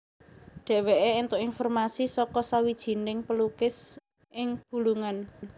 Dheweke entuk informasi saka sawijining pelukis ing Bulungan